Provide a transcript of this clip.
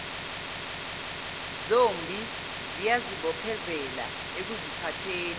zombi ziyazibophezela ekuziphatheni